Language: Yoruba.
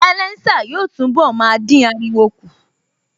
Sialésà yóò túnbọ̀ máa dín ariwo kù